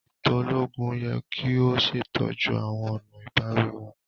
Eto ologun yẹ ki o ṣetọju awọn ọna ibawi wọn.